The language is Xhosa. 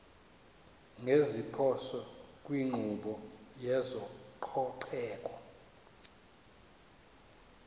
ngeziphoso kwinkqubo yezococeko